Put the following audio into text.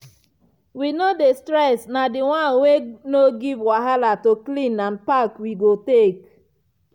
we no dey stress na the one wey no give wahala to clean and pack we go go take.